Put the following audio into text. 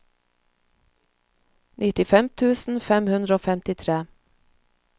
nittifem tusen fem hundre og femtitre